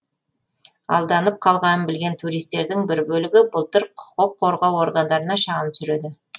алданып қалғанын білген туристердің бір бөлігі былтыр құқық қорғау органдарына шағым түсіреді